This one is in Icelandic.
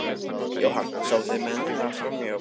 Jóhann: Sáu þið mennina fara frá borði?